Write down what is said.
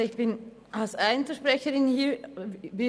Ich bin als Einzelsprecherin hier.